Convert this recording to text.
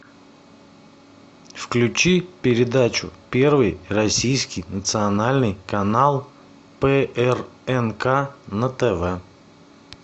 включи передачу первый российский национальный канал прнк на тв